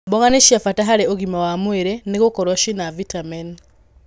Mboga nĩ cia bata harĩ ũgima wa mwĩrĩ nĩ gũkorwo cina vitamini.